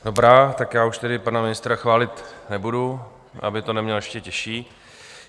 Dobrá, tak já už tedy pana ministra chválit nebudu, aby to neměl ještě těžší.